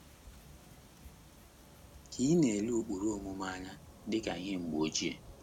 Ka ị̀ na - ele ụkpụrụ omume anya dị ka ihe mgbe ochie?